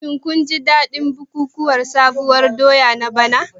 Shin kun ji dadin bukukuwan sabuwar doya na bana?